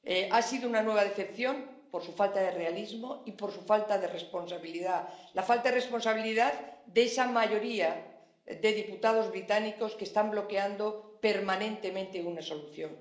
Ha sido una nueva decepción por su falta de realismo y por su falta de responsabilidad, la falta de responsabilidad de esa mayoría de diputados británicos que están bloqueando permanentemente una solución.